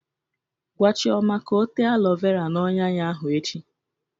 Gwa Chioma ka o tee alọ vera n'ọnyà ya ahụ echi!